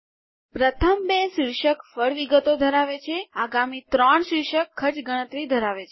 પ્રથમ બે શીર્ષક ફળ વિગતો ધરાવે છે આગામી ત્રણ શીર્ષક ખર્ચ ગણતરી ધરાવે છે